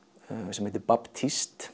sem heitir